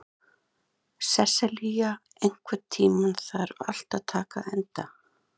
Sesselja, einhvern tímann þarf allt að taka enda.